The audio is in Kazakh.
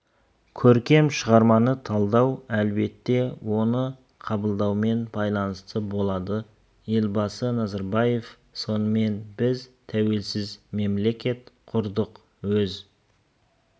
көркем шығарманы талдау әлбетте оны қабылдаумен байланысты болады елбасы назарбаевтың сонымен біз тәуелсіз мемлекет құрдық өз